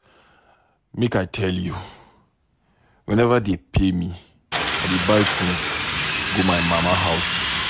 Make I tell you, whenever dey pay me, I dey buy things go my mama house